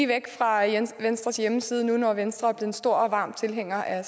væk fra venstres hjemmeside når nu venstre en stor og varm tilhænger af